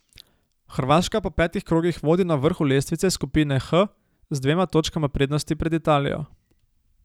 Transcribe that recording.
Hrvaška po petih krogih vodi na vrhu lestvice skupine H z dvema točkama prednosti pred Italijo.